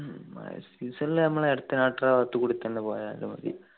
ഉം മഴ season ൽ നമ്മള് അകത്തുക്കൂടി തന്നെ പോയാല് മതി